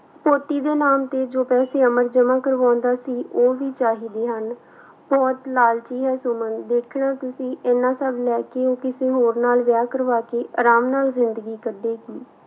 ਪੋਤੀ ਦੇ ਨਾਮ ਤੇ ਜੋ ਪੈਸੇ ਅਮਰ ਜਮਾ ਕਰਵਾਉਂਦਾ ਸੀ, ਉਹ ਵੀ ਚਾਹੀਦੇ ਹਨ ਬਹੁਤ ਲਾਲਚੀ ਹੈ ਸੁਮਨ, ਵੇਖਣਾ ਤੁਸੀਂ ਇੰਨਾ ਸਭ ਲੈ ਕੇ ਉਹ ਕਿਸੇ ਹੋਰ ਨਾਲ ਵਿਆਹ ਕਰਵਾ ਕੇ ਆਰਾਮ ਨਾਲ ਜ਼ਿੰਦਗੀ ਕੱਢੇਗੀ।